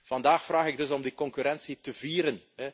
Vandaag vraag ik dus om die concurrentie te vieren.